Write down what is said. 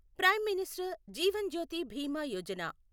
prime minister Jeevan Jyoti Bima Yojana